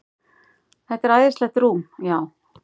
Þetta er æðislegt rúm, já.